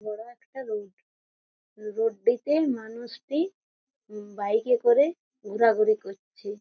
ধরো একটা road road -টিতে মানুষ টি উম- বাইক -এ করে ঘোরাঘুরি করছে।